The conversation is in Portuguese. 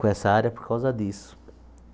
com essa área por causa disso.